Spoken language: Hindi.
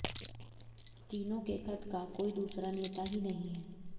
तीनों के कद का कोई दूसरा नेता ही नहीं है